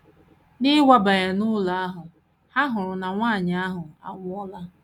N’ịwabanye n’ụlọ ahụ, ha hụrụ na nwanyị ahụ anwụọla.